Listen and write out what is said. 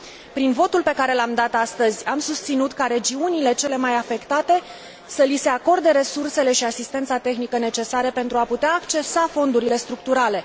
Prin votul pe care l am dat astăzi am susținut ca regiunilor celor mai afectate să li se acorde resursele și asistența tehnică necesare pentru a putea accesa fondurile structurale.